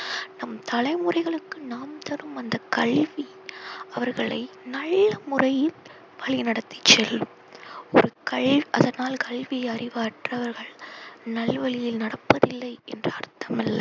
நம் தலைமுறைகளுக்கு நாம் தரும் அந்த கல்வி அவர்களை நல்ல முறையில் வழி நடத்தி செல்லும். ஒரு கல் அதனால் கல்வி அறிவற்றவர்கள் நல் வழியில் நடப்பதில்லை என்ற அர்த்தமல்ல.